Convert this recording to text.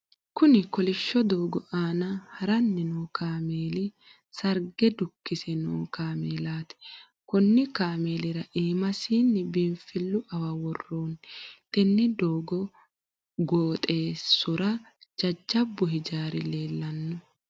Kunni kolisho doogo aanna haranni noo kaameeli sarge dukise noo kaameelaati. Konni kaameelira iimasinni biinfilu awawa woroonni. Tenne doogo gooxeesora jajabu hijaari leelano.